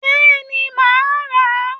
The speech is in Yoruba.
Béeni, ma a ra